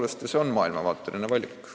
See on maailmavaateline valik.